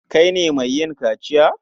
Kai ne mai yin kaciya?